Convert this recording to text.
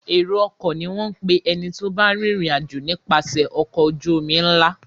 Èrò-ọkọ̀ ni wọ́n ń pè ẹni tó bá ń rìnrìn-àjò nipase ọkọ̀ ojú-omi ńlá.